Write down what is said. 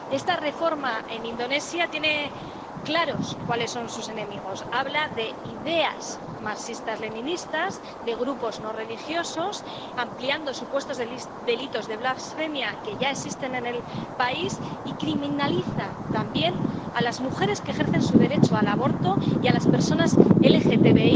Esta reforma en Indonesia tiene claros cuáles son sus enemigos habla de ideas marxistas leninistas, de grupos no religiosos, ampliando supuestos delitos de blasfemia —que ya existen en el país—, y criminaliza también a las mujeres que ejercen su derecho al aborto y a las personas LGTBI,